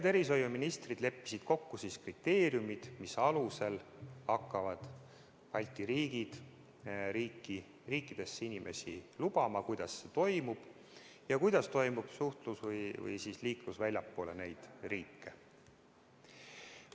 Tervishoiuministrid leppisid kokku kriteeriumid, mis alusel hakkavad Balti riigid oma riiki inimesi lubama, kuidas see toimub ja kuidas toimub liiklus väljapoole neid riike.